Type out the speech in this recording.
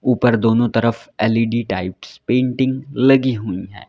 ऊपर दोनों तरफ एल_ई_डी टाइप्स पेंटिंग लगी हुई हैं।